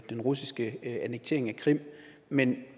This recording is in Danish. den russiske annektering af krim men